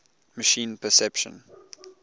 machine perception